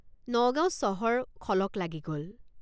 নগাঁও চহৰ খলক লাগি গল।